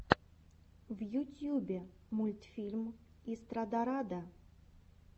в ютьюбе мультфильм истрадарада